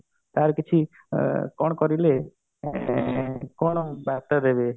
ୟାର କିଛି କଣ କରିଲେ ଏଁ କଣ ବାର୍ତ୍ତା ଦେବେ